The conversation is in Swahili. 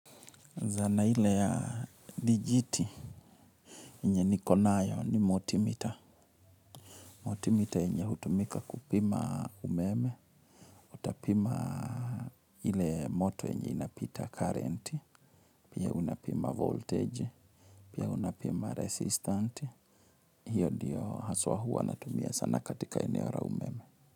Zana ile ya dijiti yenye niko nayo ni motimita. Motimita yenye hutumika kupima umeme, utapima hile moto yenye inapita current, pia unapima voltage, pia unapima resistant hiyo ndiyo haswa hua natumia sana katika eneo la umeme.